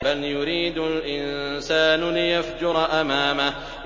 بَلْ يُرِيدُ الْإِنسَانُ لِيَفْجُرَ أَمَامَهُ